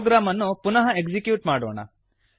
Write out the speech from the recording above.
program ಅನ್ನು ಪುನಃ execute ಮಾಡೋಣ